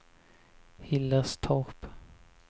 Hillerstorp